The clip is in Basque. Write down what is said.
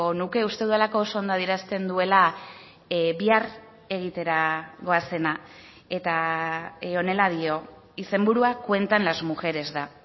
nuke uste dudalako oso ondo adierazten duela bihar egitera goazena eta honela dio izenburua cuentan las mujeres da